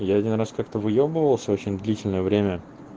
я один раз как-то выебывался очень длительное время